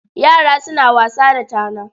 Yara suna wasa da tana.